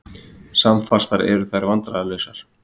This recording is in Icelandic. Samfastar eru þær vandræðalausar.